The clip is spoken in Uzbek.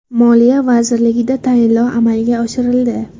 Moliya vazirligida tayinlov amalga oshirildi.